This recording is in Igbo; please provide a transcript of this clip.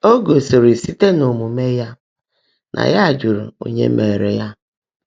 Ó gosíri síte n’ómuumé yá ná yá jụrụ Ónyé Meèré yá.